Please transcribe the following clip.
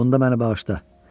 Bunda məni bağışla.